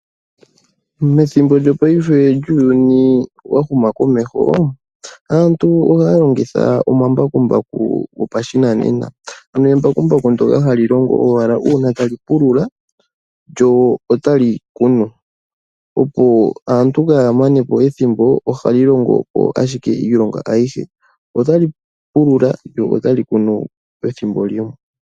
Methimbo lyopaife lyuuyuni wa huma komeho, aantu ohaya longitha omambakumbaku gopashinanena, ano embakumbaku ndyoka hali longo owala uuna tali pulula lyo otali kunu, opo aantu kaya manepo ethimbo ohali longo ashike iilonga ayihe. Otali pulula lyo otali kunu pethimbo limwe.